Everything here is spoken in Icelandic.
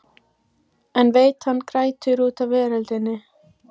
En veit að hann grætur út af veröldinni.